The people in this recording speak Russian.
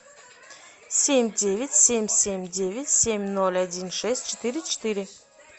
семь девять семь семь девять семь ноль один шесть четыре четыре